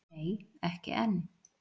Nei ekki enn.